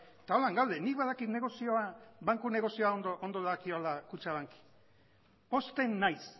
eta horrela gaude nik badakit negozioa banku negozioa ondo dagokiola kutxabanki pozten naiz